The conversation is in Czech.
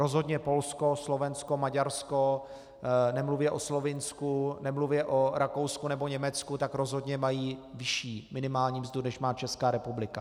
Rozhodně Polsko, Slovensko, Maďarsko, nemluvě o Slovinsku, nemluvě o Rakousku nebo Německu, tak rozhodně mají vyšší minimální mzdu, než má Česká republika.